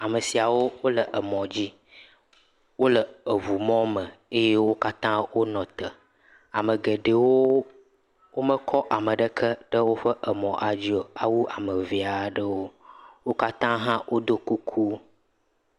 Ame siawo wole emɔdzi. Wole eŋumɔme eye wo katã wonɔ te. Ame geɖewoo womekɔ ame ɖeke ɖe woƒe emɔa dzi o, awu ame vee aɖewo. Wo katã hã woɖɔ kuku.